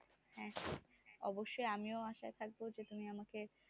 হ্যাঁ অবশ্যই আমিও আশায় থাকবো যে তুমি আমাকে